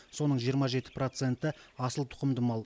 соның жиырма жеті проценті асылтұқымды мал